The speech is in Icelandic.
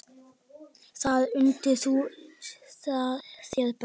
Þar undir þú þér best.